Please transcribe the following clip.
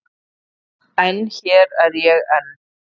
En hér er ég enn.